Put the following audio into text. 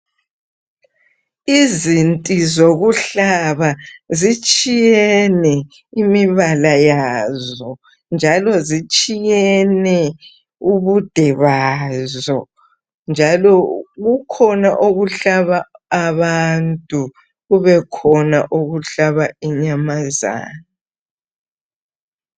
Izinti zokuhlaba zitshiyene imibala yazo, njalo zitshiyene ubude bazo, njalo . kukhona okuhlaba abantu, njalo kukhona okuhlaba inyamazana.